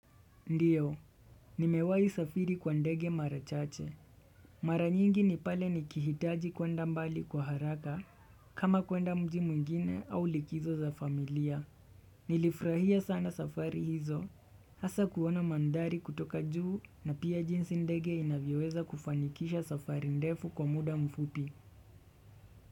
Ndiyo, nimewahi safiri kwa ndege mara chache. Mara nyingi ni pale nikihitaji kuenda mbali kwa haraka, kama kuenda mji mwingine au likizo za familia. Nilifurahia sana safari hizo, hasa kuona mandhari kutoka juu na pia jinsi ndege inavyoweza kufanikisha safari ndefu kwa muda mfupi.